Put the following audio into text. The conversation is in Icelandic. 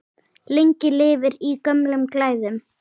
Lengi lifir í gömlum glæðum!